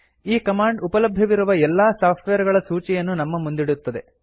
ಈ ಕಮಾಂಡ್ ಉಪಲಭ್ಯವಿರುವ ಎಲ್ಲಾ ಸಾಫ್ಟ್ವೇರ್ ಗಳ ಸೂಚಿಯನ್ನು ನಮ್ಮ ಮುಂದಿಡುತ್ತದೆ